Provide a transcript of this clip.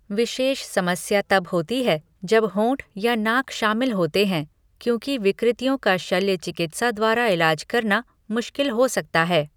विशेष समस्या तब होती है जब होंठ या नाक शामिल होते हैं, क्योंकि विकृतियों का शल्य चिकित्सा द्वारा इलाज करना मुश्किल हो सकता है।